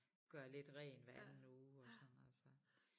Gør lidt rent hver anden uge og sådan noget så